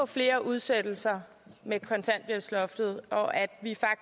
flere udsættelser med kontanthjælpsloftet og at